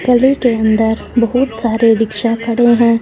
गली के अंदर बहुत सारे रिक्शा खड़े हैं।